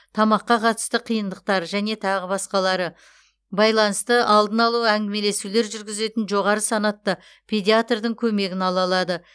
тамаққа қатысты қиындықтар және тағы басқалары байланысты алдын алу әңгімелесулер жүргізетін жоғары санатты педаиатрдың көмегін ала алады